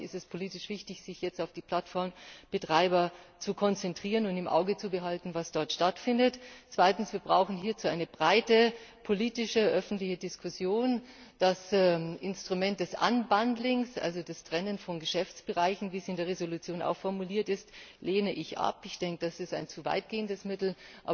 Deshalb ist es politisch wichtig, sich auf die Plattformbetreiber zu konzentrieren und im Auge zu behalten, was dort stattfindet. Zweitens Hierzu brauchen wir eine breite politische, öffentliche Diskussion. Das Instrument des unbundling also des Trennens von Geschäftsbereichen, wie es in der Entschließung auch formuliert ist, lehne ich ab, das ist ein zu weit gehendes Mittel.